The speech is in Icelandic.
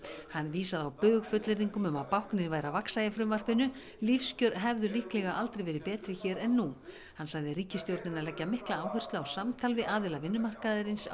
hann vísaði á bug fullyrðingum um að báknið væri að vaxa í frumvarpinu lífskjör hefðu líklega aldrei verið betri hér en nú hann sagði ríkisstjórnina leggja mikla áherslu á samtal við aðila vinnumarkaðarins á